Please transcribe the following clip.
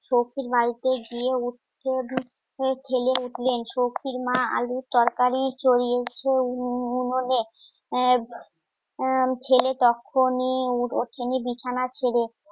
সখীর বাড়িতে গিয়ে ঠেলে উঠলেন শক্তির মা আলুর তরকারি চরিয়েছিল উননে ছেলে তক্ষনি ওখানে বিছানা ছেড়ে